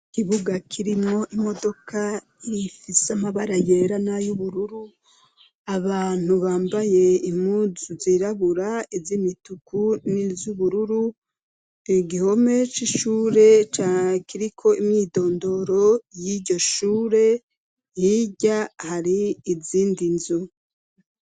Ikibuga kirimwo imodoka ifise amabara yera n' ayubururu abantu bambaye impuzu zirabura iz'imituku n'izubururu igihome c'ishure ca kiriko imyidondoro y'iryo shure hirya hari izindi nzu.